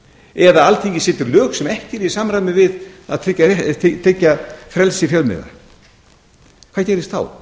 eða alþingi setur lög sem ekki eru í samræmi við að tryggja frelsi fjölmiðla hvað gerist þá